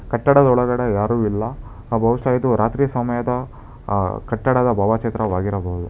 ಕಟ್ಟಡದ ಒಳಗಡೆ ಯಾರು ಇಲ್ಲ ಭಹುಷ್ಯ ಇದು ರಾತ್ರಿ ಸಮಯದ ಕಟ್ಟಡದ ಭಾವಚಿತ್ರವಾಗಿರಬೌದು.